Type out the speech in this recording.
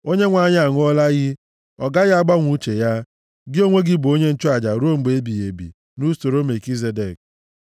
Onyenwe anyị aṅụọla iyi, ọ gaghị agbanwe uche ya: “Gị onwe gị bụ onye nchụaja ruo mgbe ebighị ebi, nʼusoro Melkizedek.”